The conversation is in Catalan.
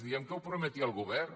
diem que ho prometia el govern